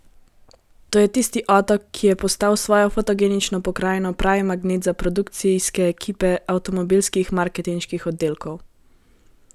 To je tisti otok, ki je postal s svojo fotogenično pokrajino pravi magnet za produkcijske ekipe avtomobilskih marketinških oddelkov.